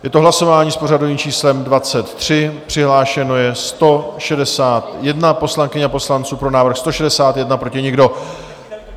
Je to hlasování s pořadovým číslem 23, přihlášeno je 161 poslankyň a poslanců, pro návrh 161, proti nikdo.